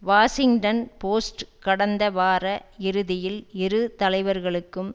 Washington Post கடந்த வார இறுதியில் இரு தலைவர்களுக்கும்